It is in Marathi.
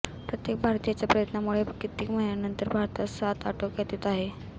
प्रत्येक भारतीयाच्या प्रयत्नामुळे कित्येक महिन्यानंतर भारतात साथ आटोक्यात येत आहे